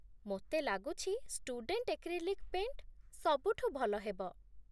ମୋତେ ଲାଗୁଛି student acrylic paint ସବୁଠୁ ଭଲ ହେବ ।